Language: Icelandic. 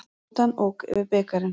Rútan ók yfir bikarinn